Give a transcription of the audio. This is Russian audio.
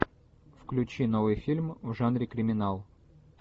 включи новый фильм в жанре криминал